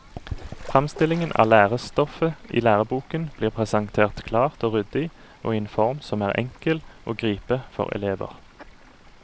Fremstillingen av lærestoffet i læreboken blir presentert klart og ryddig, og i en form som er enkel å gripe for elever.